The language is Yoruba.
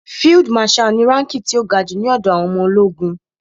Field marshal ni ránkí ti ó ga jù ní ọ̀dọ̀ àwọn ọmọ ológun.